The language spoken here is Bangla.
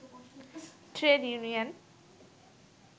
trade union